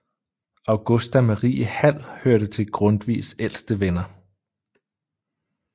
Augusta Marie Hall hørte til Grundtvigs ældste venner